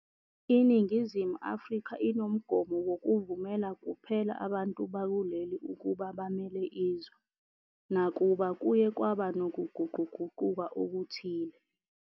INingizimu Afrika inomgomo wokuvumela kuphela abantu bakuleli ukuba bamele izwe, nakuba kuye kwaba nokuguquguquka okuthile.